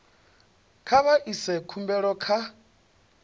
kha vha ise khumbelo kha